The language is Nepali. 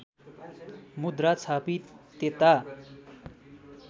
मुद्रा छापी त्यता